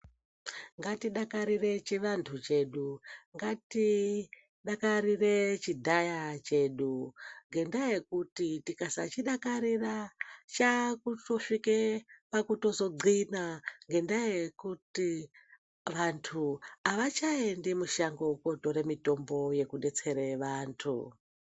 Ngatidakarire chivantu chedu ngatidakarire chidhaya chedu ngendaa yekuti tikasachidakarira chakutosvike pakuzotothina ngendaa yekuti vantu avachaendi mushango kunotora mitombo yekubetsera vantu .